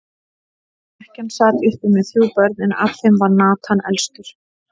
Ekkjan sat uppi með þrjú börn, en af þeim var Nathan elstur.